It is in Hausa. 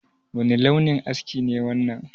Wani launin aski ne wannan?